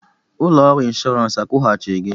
Ụlọ ọrụ inshọransị akwụghachi gị?